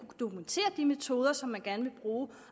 dokumentere de metoder som man gerne vil bruge